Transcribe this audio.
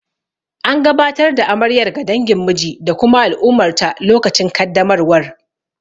An gabatar da amaryar ga dangin miji da kuma al'ummarta lokacin kaddamarwar.